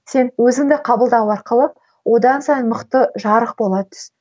сен өзіңді қабылдау арқылы одан сайын мықты жарық бола түс